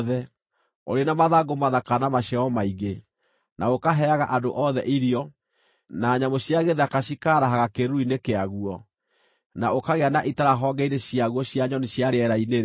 ũrĩ na mathangũ mathaka na maciaro maingĩ, na ũkaheaga andũ othe irio, na nyamũ cia gĩthaka cikaarahaga kĩĩruru-inĩ kĩaguo, na ũkagĩa na itara honge-inĩ ciaguo cia nyoni cia rĩera-inĩ-rĩ,